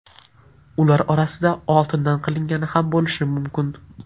Ular orasida oltindan qilingani ham bo‘lishi mumkin.